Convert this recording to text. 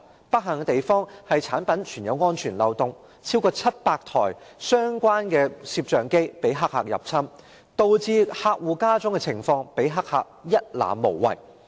不幸的是，該產品存在安全漏洞，有超過700台相關攝像機遭黑客入侵，導致客戶家中的情況被黑客一覽無遺。